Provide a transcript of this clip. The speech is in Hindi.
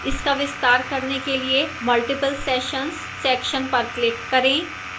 इसका विस्तार करने के लिए multiple sessions section पर click करें